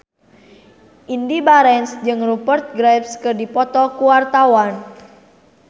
Indy Barens jeung Rupert Graves keur dipoto ku wartawan